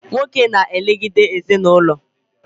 Nwoke na elegide ezinaụlọ